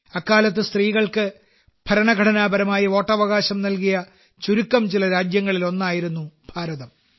അക്കാലത്ത് സ്ത്രീകൾക്ക് ഭരണഘടനാപരമായി വോട്ടവകാശം നൽകിയ ചുരുക്കം ചില രാജ്യങ്ങളിലൊന്നായിരുന്നു ഭാരതം